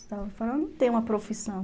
Eu falava, não tem uma profissão.